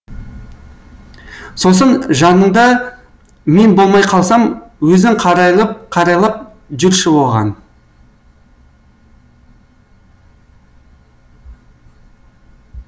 сосын жанында мен болмай қалсам өзің қарайлап жүрші оған